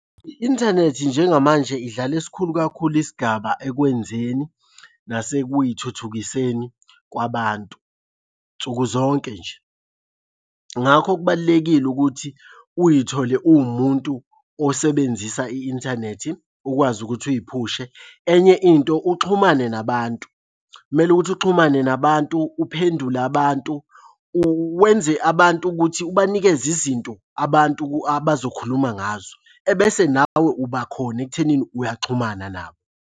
I-inthanethi njengamanje idlala esikhulu kakhulu isigaba ekwenzeni nasekuy'thuthukiseni kwabantu nsukuzonke nje. Ngakho kubalulekile ukuthi uy'thole uwumuntu osebenzisa i-inthanethi ukwazi ukuthi uy'phushe. Enye into, uxhumane nabantu, kumele ukuthi uxhumane nabantu, uphendule abantu, uwenze abantu ukuthi ubanikeze izinto abantu abazokhuluma ngazo. Ebese nawe ubakhona ekuthenini uyaxhumana nabo.